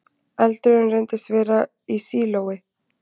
Eldurinn reyndist vera í sílói